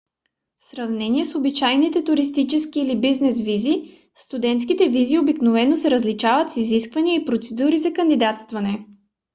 в сравнение с обичайните туристически или бизнес визи студентските визи обикновено са с различни изисквания и процедури за кандидатстване